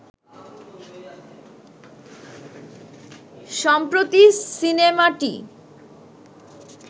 সম্প্রতি সিনেমাটি